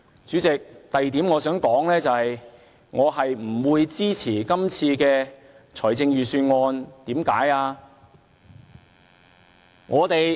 主席，我想說的第二點是，我不會支持今次的預算案，為甚麼呢？